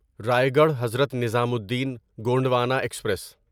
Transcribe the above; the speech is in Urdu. رایگڑھ حضرت نظامالدین گونڈوانا ایکسپریس